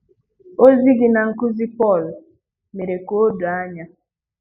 Ozi gi na nkụzi Pọl mèrè ka o doo anya.